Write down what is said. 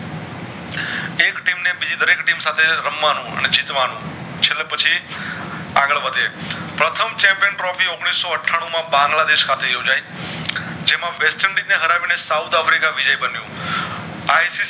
બેવ સાથે રમવાનું અને જીતવાનું છેલ્લે પછી આગળ વધે પ્રથમ Champion Trophy ઔગણીસઓ અઠ્ઠાણું માં બાંગ્લા દેશ ખાતે યોજાય જેમાં વેસ્ટર્નદિશે એ હરાવીને સાઉથ આફ્રિકા વિજય બનીયુ